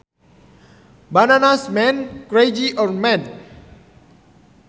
Bananas means crazy or mad